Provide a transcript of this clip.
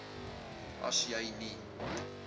as jy nie